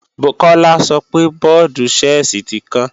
Kọ́lá sọpe bọ́ọ̀dù-Ṣẹ́ẹ̀sì tí kán